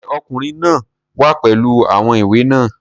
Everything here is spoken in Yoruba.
Sé Ọkùnrin náà wá pẹ̀lú àwọn ìwé náà?